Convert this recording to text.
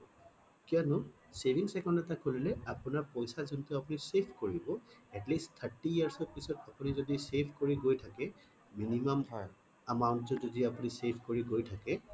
কিয়নো savings account এটা খুলিলে আপোনাৰ পইছা যোনটো আপুনি save কৰিব atleast thirty years পিছত আপুনি যদি save কৰি যাই থাকে minimum amount টো যদি আপুনি save কৰি গৈ থাকে